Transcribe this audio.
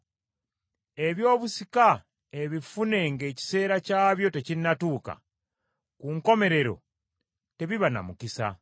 Eby’obusika ebifune ng’ekiseera kyabyo tekinnatuuka, ku nkomerero tebiba na mukisa.